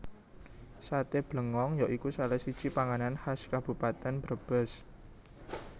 Saté Blengong ya iku salah siji panganan khas Kabupatèn Brebes